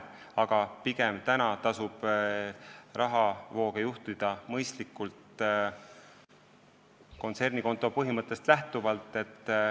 Aga pigem tasub praegu rahavooge juhtida mõistlikult ja kontsernikonto põhimõttest lähtuvalt.